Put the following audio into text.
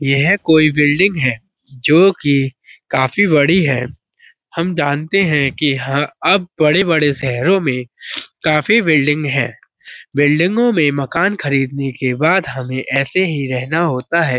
यह कोई बिल्डिंग है जोकि काफी बड़ी है। हम जानते हैं की ह अब बड़े-बड़े शहरों में काफी बिल्डिंग हैं बिल्डिंगों में मकान खरीदने के बाद हमें ऐसे ही रहना होता है।